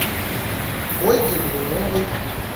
ольге блиновой